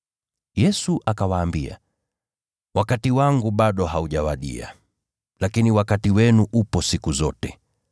Yesu akawaambia, “Wakati wangu bado haujawadia, lakini wakati wenu upo siku zote.